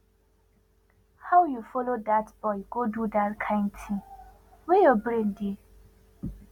how you follow dat boy go do dat kin thing where your brain dey